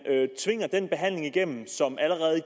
tvinger den behandling igennem som allerede i